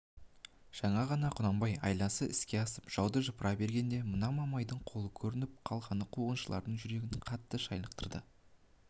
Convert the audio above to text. жаңа ғана құнанбай айласы іске асып жауды жыпыра бергенде мына мамайдың қолы көрініп қалғаны қуғыншылардың жүрегін қатты шайлықтырды